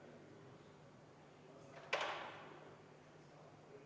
Palun võtta seisukoht ja hääletada!